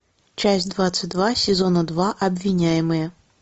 часть двадцать два сезона два обвиняемые